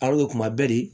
kuma bɛɛ de